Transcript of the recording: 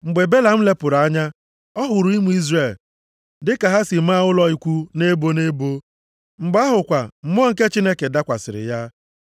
Mgbe Belam lepụrụ anya ọ hụrụ ụmụ Izrel dịka ha si maa ụlọ ikwu nʼebo nʼebo. Mgbe ahụ kwa, Mmụọ nke Chineke dakwasịrị ya.